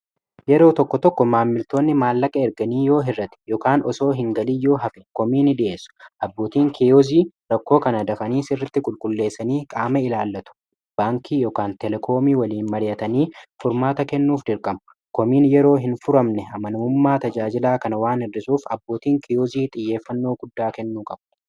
yeroo tokko tokko maammiltoonni maallaqa erganii yoo hirrate ykaan osoo hin galiyyoo hafe koomiini di'essu abbootiin kiyoozii rakkoo kana dakanii sirritti qulqulleessanii qaama ilaallatu baankii ykaan telekoomii waliin mar'atanii furmaata kennuuf dirqama koomiin yeroo hin furamne amanamummaa tajaajilaa kana waan hirrisuuf abbootiin kiyozii xiyyeeffannoo guddaa kennuu qabu